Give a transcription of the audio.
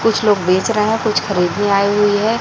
कुछ लोग बेच रहे हैं कुछ खरीदने आई हुई है।